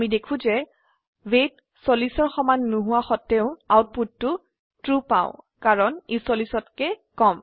আমি দেখো যে ৱেইট 40ৰ সমান নহোৱা সত্বেও আউটপুটটো ট্ৰু পাউ কাৰণ ই 40তকে কম